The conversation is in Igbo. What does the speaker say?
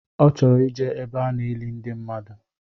Ọ chọrọ ijee ebe a na-eli ndi mmadụ